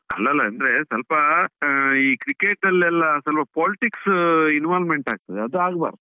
ಅಲ್ಲ ಅಲ್ಲ ಅಂದ್ರೆ, ಸ್ವಲ್ಪಾ ಆ ಈ cricket ಅಲ್ಲೆಲ್ಲಾ ಸ್ವಲ್ಪ politics involvement ಆಗ್ತದೆ ಅದು ಆಗ್ಬಾರ್ದು.